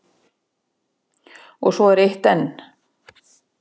Og svo er eitt enn.